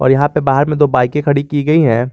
और यहां पे बाहर में दो बाईकें खड़ी की गई हैं।